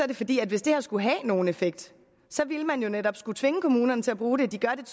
det fordi hvis det her skulle have nogen effekt ville man jo netop skulle tvinge kommunerne til at bruge det de gør det